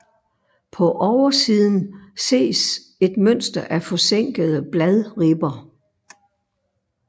På oversiden ses et mønster af forsænkede bladribber